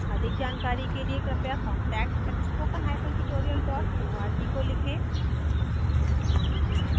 अधिक जानकारी कर लिए कृपया contact @spokentutorial org को लिखें